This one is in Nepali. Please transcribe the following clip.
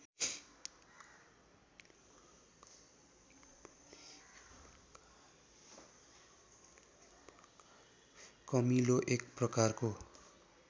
कमिलो एक प्रकारको